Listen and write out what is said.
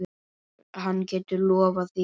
Hann getur lofað því.